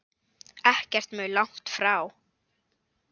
Ekkert mjög langt frá.